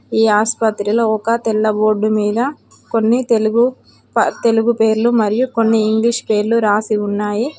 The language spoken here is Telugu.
ఈ ఆసుపత్రిలో ఒక తెల్ల బోర్డు మీద కొన్ని తెలుగు తెలుగు పేర్లు మరియు కొన్ని ఇంగ్లీష్ పేర్లు రాసి ఉన్నాయి.